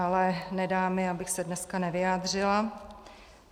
Ale nedá mi, abych se dneska nevyjádřila.